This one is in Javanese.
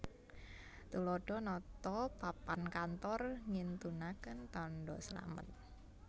Tuladha nata papan kantor ngintunaken tandha slamet